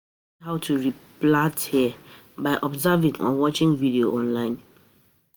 Self taught na wen person wen person learn by himself without paying for it